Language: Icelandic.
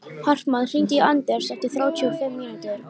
Hartmann, hringdu í Anders eftir þrjátíu og fimm mínútur.